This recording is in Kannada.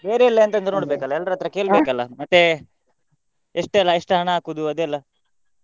ಬೇರೆ ಎಲ್ಲ ಎಂತ ಅಂತ ಎಲ್ಲರತ್ರ ಮತ್ತೆ ಎಷ್ಟೆಲ್ಲ ಎಷ್ಟ್ ಹಣ ಹಾಕುದು ಅದೆಲ್ಲ.